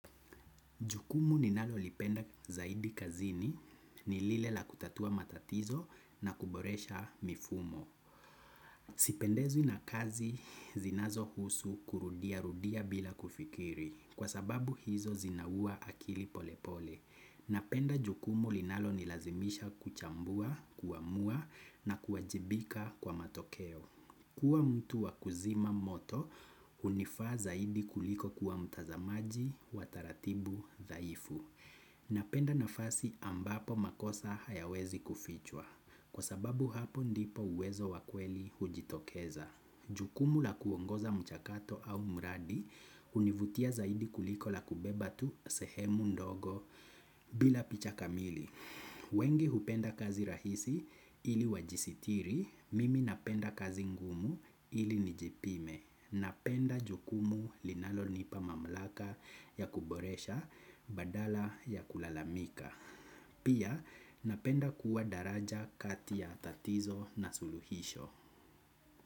Jukumu ninalolipenda zaidi kazini ni lile la kutatua matatizo na kuboresha mifumo. Sipendezwi na kazi zinazohusu kurudiarudia bila kufikiri kwa sababu hizo zinaua akili pole pole. Napenda jukumu linalonilazimisha kuchambua, kuamua na kuajibika kwa matokeo. Kuwa mtu wa kuzima moto hunifaa zaidi kuliko kuwa mtazamaji wa taratibu dhaifu. Napenda nafasi ambapo makosa hayawezi kufichwa. Kwa sababu hapo ndipo uwezo wakweli hujitokeza. Jukumu la kuongoza mchakato au mradi hunivutia zaidi kuliko la kubeba tu sehemu ndogo bila picha kamili. Wengi hupenda kazi rahisi ili wajisitiri, mimi napenda kazi ngumu ili nijipime. Napenda jukumu linalonipa mamlaka ya kuboresha badala ya kulalamika. Pia napenda kuwa daraja kati ya tatizo na suluhisho.